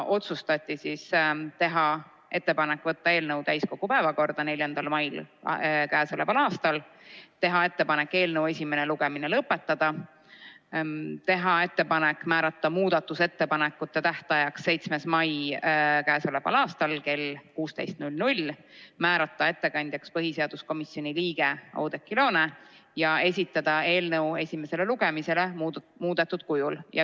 Otsustati teha ettepanek võtta eelnõu täiskogu päevakorda 4. mail, teha ettepanek eelnõu esimene lugemine lõpetada, teha ettepanek määrata muudatusettepanekute tähtajaks 7. mai kell 16, määrata ettekandjaks põhiseaduskomisjoni liige Oudekki Loone ja esitada eelnõu esimesele lugemisele muudetud kujul.